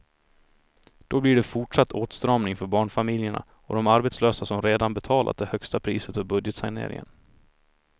Då blir det fortsatt åtstramning för barnfamiljerna och de arbetslösa som redan betalat det högsta priset för budgetsaneringen.